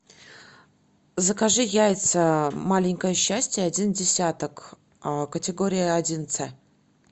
закажи яйца маленькое счастье один десяток категория один ц